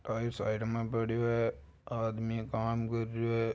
Tyre side में पड़यो है आदमी काम कर रयो है।